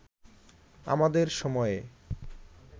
আমাদের সময়ে